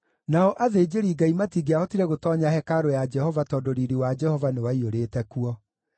Nao athĩnjĩri-Ngai matingĩahotire gũtoonya hekarũ ya Jehova tondũ riiri wa Jehova nĩwaiyũrĩte kuo.